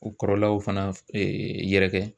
O kɔrɔlaw fana yɛrɛkɛ.